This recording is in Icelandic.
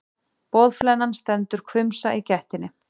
Boðflennan stendur hvumsa í gættinni.